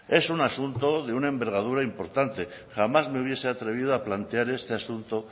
es un asunto de una envergadura importante jamás me hubiese atrevido a plantear este asunto